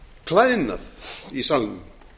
klæðnað í salnum